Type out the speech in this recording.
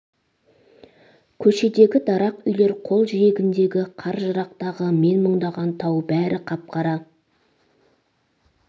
көшедегі дарақ үйлер жол жиегіндегі қар жырақтағы мен мұңдалған тау бәрі қап-қара